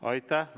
Aitäh!